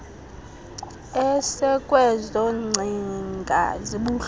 esekwezo ngcinga zibuhlungu